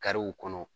Kariw kɔnɔ